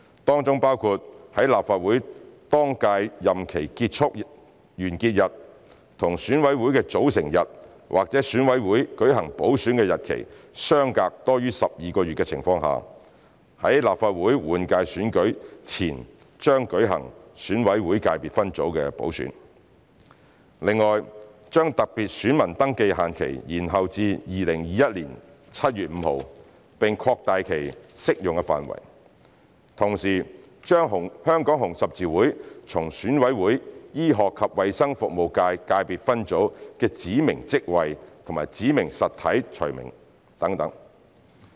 當中包括在立法會當屆任期完結日與選委會的組成日或選委會舉行補選的日期相隔多於12個月的情況下，在立法會換屆選舉前將舉行選委會界別分組補選；另外，將特別選民登記限期延後至2021年7月5日，並擴大其適用範圍；同時，把香港紅十字會從選委會醫學及衞生服務界界別分組的指明職位及指明實體除名等。